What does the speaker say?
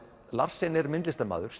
Larsen er myndlistarmaður